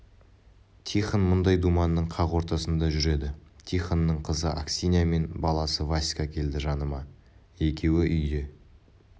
тихон мұндай думанның қақ ортасында жүреді тихонның қызы аксинья мен баласы васька келді жаныма екеуі үйде